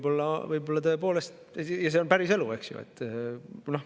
Võib-olla tõepoolest, see on päriselu, eks ju.